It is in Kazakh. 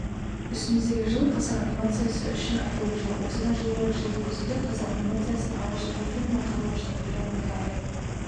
үстіміздегі жыл қазақ анимациясы үшін айтулы жыл осыдан жыл бұрын жылдың күзінде қазақ анимациясының алғашқы мультфильмі қарлығаштың құйрығы неге айыр